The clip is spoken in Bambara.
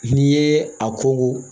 N'i ye a ko